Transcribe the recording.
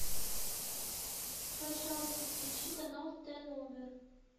пожалуйста включи канал т номер